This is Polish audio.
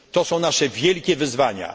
To są nasze wielkie wyzwania.